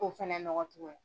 ko fana nɔgɔ tuguni.